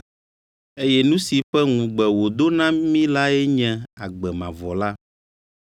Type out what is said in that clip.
Eye nu si ƒe ŋugbe wòdo na mí lae nye agbe mavɔ la.